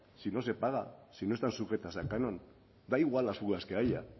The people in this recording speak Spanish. si no se paga si no están sujetas al canon da igual las fugas que haya